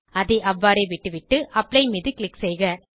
அதை அவ்வாறே விட்டுவிட்டு அப்ளை மீது க்ளிக் செய்க